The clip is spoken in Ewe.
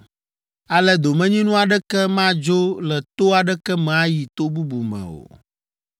Ale domenyinu aɖeke madzo le to aɖeke me ayi to bubu me o.’ ”